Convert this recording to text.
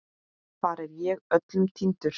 Þar er ég öllum týndur.